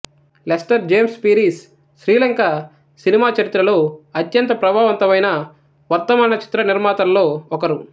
Lester James Peries Sri Lanka cinema చరిత్రలో అత్యంత ప్రభావవంతమైన వర్ధమాన చిత్రనిర్మాతలలో ఒకరు